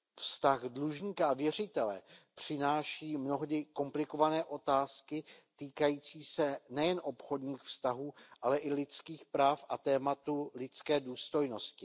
Vztah dlužníka a věřitele přináší mnohdy komplikované otázky týkající se nejen obchodních vztahů, ale i lidských práv a tématu lidské důstojnosti.